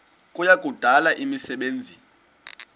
kuya kudala imisebenzi